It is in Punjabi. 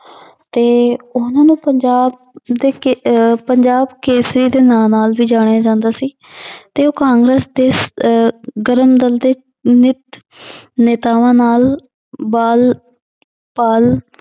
ਤੇ ਉਹਨੂੰ ਪੰਜਾਬ ਦੇ ਕੇ~ ਅਹ ਪੰਜਾਬ ਕੇਸਰੀ ਦੇ ਨਾਂ ਨਾਲ ਵੀ ਜਾਣਿਆ ਜਾਂਦਾ ਸੀ ਤੇ ਉਹ ਕਾਂਗਰਸ ਦੇ ਅਹ ਗਰਮ ਦਲ ਦੇ ਨੇਤ~ ਨੇਤਾਵਾਂ ਨਾਲ ਬਾਲ ਪਾਲ